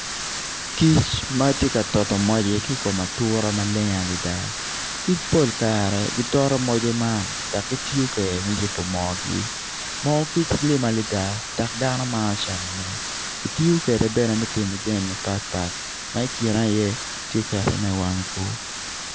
Kic ma tye ka toto moce ki i kom atura maleng adada kic pol kare gitoto moce man dok gitiyo kwede me yubo mogi moo kic lim adada dok dano maro camone kitiyo kwede bene me timo jami mapatpat ma kine iye tye ketone iwang bur.